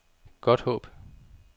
Godthåb